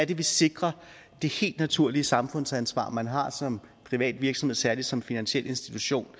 vi sikrer det helt naturlige samfundsansvar man har som privat virksomhed og særlig som finansiel institution